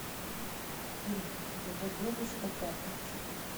фильм его девушка пятница